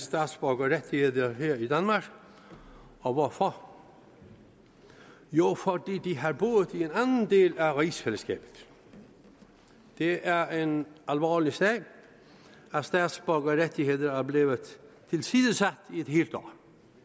statsborgerrettigheder her i danmark og hvorfor jo fordi de har boet i en anden del af rigsfællesskabet det er er en alvorlig sag at statsborgerrettigheder er blevet tilsidesat i et helt år